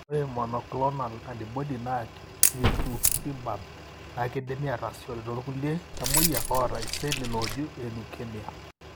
ore monoclonal antibody naji rituximab na kindimi atasishore tolkulie tamoyiak oata iseli looju elukemia.